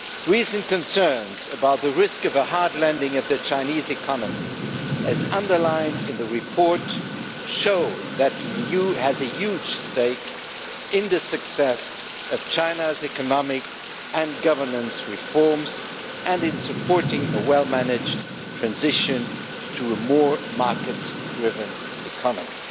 Recent concerns about the risk of a hard landing of the Chinese economy as underlined in the report show that the EU has a huge stake in the success of China's economic and governance reforms, and in supporting a well managed transition to a more market driven economy.